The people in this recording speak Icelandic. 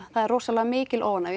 það er rosalega mikil óánægja